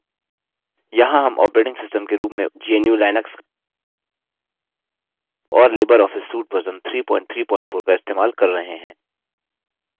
यहाँ हम operating system के रूप में gnu/लिनक्स और लिबर ऑफिस suite वर्ज़न 334 इस्तेमाल कर रहे हैं